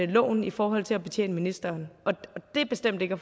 loven i forhold til at betjene ministeren og det er bestemt ikke